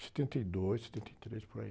setenta e dois, setenta e três, por aí.